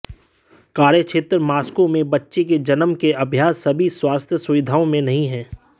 कार्यक्षेत्र मास्को में बच्चे के जन्म के अभ्यास सभी स्वास्थ्य सुविधाओं में नहीं है